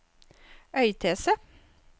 Øystese